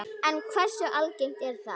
En hversu algengt er það?